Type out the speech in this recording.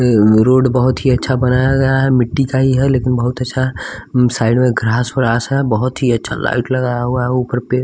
road बहुत ही अच्छा बनाया गया है मिट्टी का ही है लेकिन बहुत अच्छा है साइड में ग्रास व्रास है बहुत ही अच्छा लाइट लगाया हुआ है ऊपर पे --